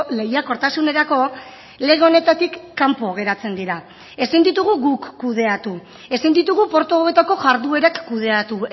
lehiakortasunerako lege honetatik kanpo geratzen dira ezin ditugu guk kudeatu ezin ditugu portu hauetako jarduerak kudeatu